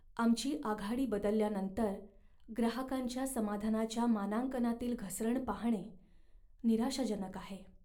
आमची आघाडी बदलल्यानंतर ग्राहकांच्या समाधानाच्या मानांकनातील घसरण पाहणे निराशाजनक आहे.